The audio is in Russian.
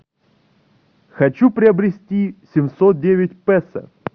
хочу приобрести семьсот девять песо